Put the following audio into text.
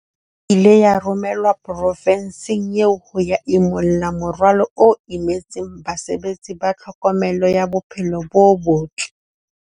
Ile ya romelwa profenseng eo ho ya imulla morwalo o imetseng basebetsi ba tlhokomelo ya bophelo bo botle.